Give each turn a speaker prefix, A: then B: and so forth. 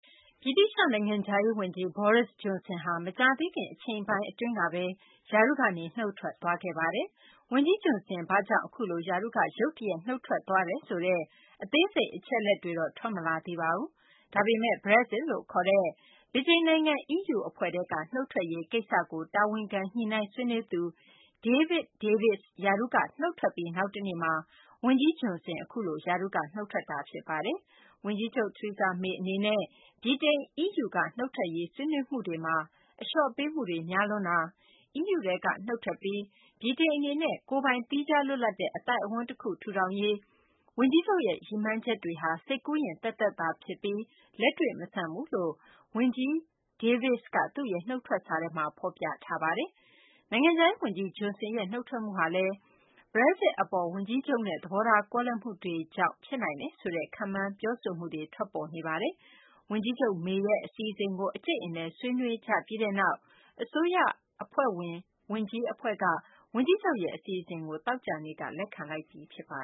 A: ဗြိတိသျှနိုင်ငံခြားရေးဝန်ကြီး Boris Johnson ဟာ မကြာသေးခင် အချိန်ပိုင်းအတွင်းကဘဲ ရာထူးကနေ နုတ်ထွက်သွားခဲ့ပါတယ်။ ဝန်ကြီး Johnson ဘာကြောင့် အခုလို ရာထူးက ရုတ်တရက် နုတ်ထွက်သွားတယ်ဆိုတဲ့ အသေးစိတ် အချက်အလက်တွေတော့ ထွက်မလာသေးပါဘူး။ ဒါပေမယ့် Brexit လို့ခေါ်တဲ့ ဗြိတိန်နိုင်ငံ အီးယူအဖွဲ့ထဲက နုတ်ထွက်ရေးကိစ္စကို တာဝန်ခံ ညှိနှိုင်းဆွေးနွေးသူ David Davis ရာထူးက နုတ်ထွက်ပြီး နောက်တနေ့မှာ ဝန်ကြီး Johnson အခုလို ရာထူးက နုတ်ထွက်သွားတာပါ။ ဝန်ကြီးချုပ် Theresa May အနေနဲ့ ဗြိတိန် အီးယူက နုတ်ထွက်ရေး ဆွေးနွေးမှုတွေမှာ အလျော့ပေးမှုတွေ များလွန်းတာ၊ အီးယူထဲက နုတ်ထွက်ပြီး ဗြိတိန်အနေနဲ့ ကိုယ်ပိုင် သီးခြားလွတ်လပ်တဲ့ အသိုက်အဝန်းအခု ထူထောင်ရေး ဝန်ကြီးချုပ်ရဲ့ ရည်မှန်းချက်တွေဟာ စိတ်ကူးယဉ်သက်သက်သာဖြစ်ပြီး လက်တွေ့မဆန်ဘူးလို့ ဝန်ကြီး Davis က သူ့ရဲ့ နုတ်ထွက်စာထဲမှာ ဖော်ပြထားပါတယ်။ နိုင်ငံခြားရေးဝန်ကြီး Johnson ရဲ့ နုတ်ထွက်မှုဟာလည်း Brexit အပေါ် ဝန်ကြီးချုပ်နဲ့ သဘောထားကွဲလွဲမှုတွေကြောင့် ဖြစ်နိုင်တယ်ဆိုတဲ့ ခန့်မှန်း ပြောဆိုမှုတွေ ထွက်ပေါ်နေပါတယ်။ ဝန်ကြီးချုပ် May ရဲ့ အစီအစဉ်ကို အကြိတ်အနယ် ဆွေးနွေးကြပြီးတဲ့နောက် အစိုးရဝန်ကြီးအဖွဲ့က ဝန်ကြီးချုပ်ရဲ့ အစီအစဉ်ကို သောကြာနေ့က လက်ခံလိုက်ပြီ ဖြစ်ပါ